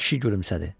Kişi gülümsədi.